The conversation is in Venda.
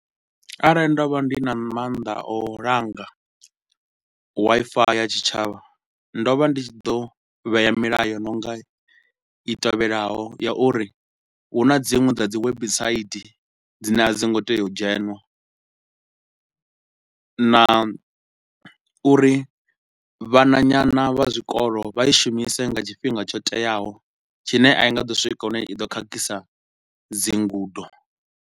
Arali nda vha ndi na mannḓa a u langa Wi-Fi ya tshitshavha, ndo vha ndi tshi ḓo vhea milayo i no nga i tevhelaho, ya uri hu na dziṅwe dza dzi website dzine a dzo ngo tea u dzhenwa na uri vhananyana vha zwikolo vha i shumise nga tshifhinga tsho teaho, tshine a i nga ḓo swika hune i do khakhisa dzi ngudo.